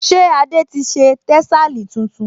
Ṣé Adé ti ṣe tẹ́sàlí tuntun kán?